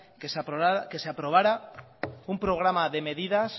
que se aprobara un programa de medidas